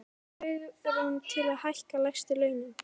Hafa þau svigrúm til þess að hækka lægstu launin?